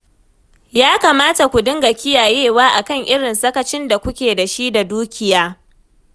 Ya kamata ku dinga kiyayewa a kan irin sakacin da kuke da shi da dukiya